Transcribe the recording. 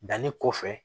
Danni kɔfɛ